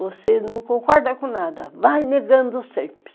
Você não concorda com nada, vai negando sempre.